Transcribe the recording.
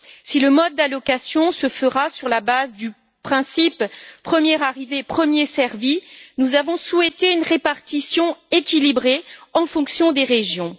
Si le mode d'allocation se fera sur la base du principe premier arrivé, premier servi, nous avons souhaité une répartition équilibrée en fonction des régions.